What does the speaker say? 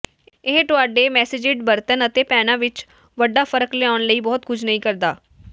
ਇਹ ਤੁਹਾਡੇ ਮੈਸੇਜਿਡ ਬਰਤਨ ਅਤੇ ਪੈਨਾਂ ਵਿਚ ਵੱਡਾ ਫਰਕ ਲਿਆਉਣ ਲਈ ਬਹੁਤ ਕੁਝ ਨਹੀਂ ਕਰਦਾ